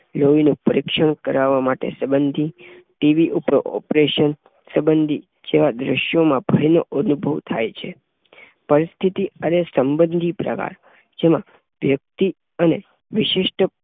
લોહીનું પરીક્ષણ કરાવવા સંબંધી, ટી. વી. પર ઓપરેશન સંબંધી જેવા દૃશ્યોમાં ભયનો અનુભવ થાય છે. પરિસ્થિતિ અને સંબંધી પ્રકાર જેમાં વ્યક્તિ અને વિશિષ્ટ